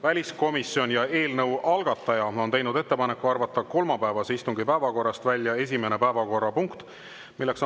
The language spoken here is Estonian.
Väliskomisjon ja eelnõu algataja on teinud ettepaneku arvata kolmapäevase istungi päevakorrast välja esimene päevakorrapunkt,